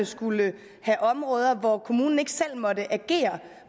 skulle have områder hvor kommunen ikke selv måtte agere